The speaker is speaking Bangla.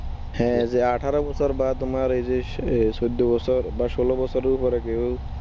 হ্যাঁ যে আঠারো বা তোমার ওই যে সে চোদ্দ বছর বা ষোল বছরের উপরের কেউ